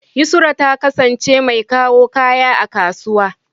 Yusra ta kasance mai kawo kaya a kasuwa.